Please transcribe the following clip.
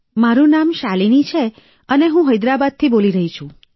મારું નામ શાલિની છે અને હું હૈદરાબાદથી બોલી રહી છું